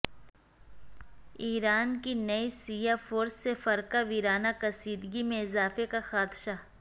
ایران کی نئی شیعہ فورس سے فرقہ وارانہ کشیدگی میں اضافے کا خدشہ